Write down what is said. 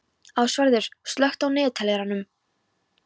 Ásvarður, slökktu á niðurteljaranum.